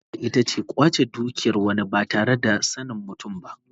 Sata ita ce kwace dukiyar wani ba tare da sanin mutum ba.